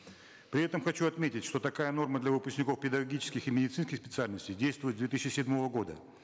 при этом хочу отметить что такая норма для выпускников педагогических и медицинских специальностей действует с две тысячи седьмого года